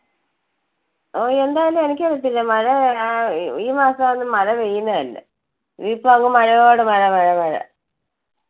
ഓഹ് എന്താണെന്ന് എനിക്ക് അറിയത്തില്ല മഴ അഹ് ഈ മാസം ഒന്നും മഴ പെയ്യുന്നതല്ല. ഇത് ഇപ്പൊ അങ്ങ് മഴയോട് മഴമഴ മഴ.